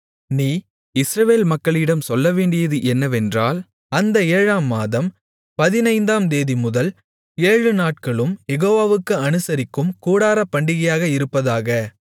நீ இஸ்ரவேல் மக்களிடம் சொல்லவேண்டியது என்னவென்றால் அந்த ஏழாம் மாதம் பதினைந்தாம்தேதிமுதல் ஏழுநாட்களும் யெகோவாவுக்கு அனுசரிக்கும் கூடாரப்பண்டிகையாக இருப்பதாக